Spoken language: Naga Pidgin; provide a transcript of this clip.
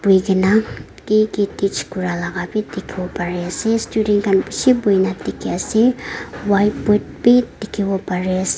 hoikae na kiki teach kuralaka bi dikhiwo pariase students khan bishi boina dikhiase whiteboard bi dikhiwo parease.